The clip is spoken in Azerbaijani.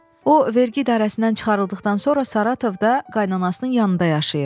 O vergi idarəsindən çıxarıldıqdan sonra Saratovda qaynanasının yanında yaşayır.